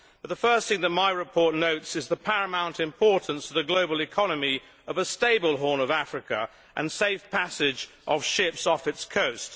But the first thing that my report notes is the paramount importance to the global economy of a stable Horn of Africa and safe passage of ships off its coast.